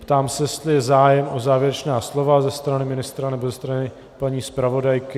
Ptám se, jestli je zájem o závěrečná slova ze strany ministra nebo ze strany paní zpravodajky.